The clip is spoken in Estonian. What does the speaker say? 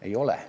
Ei ole.